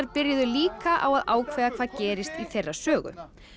byrjuðu líka á að ákveða hvað gerist í þeirra sögu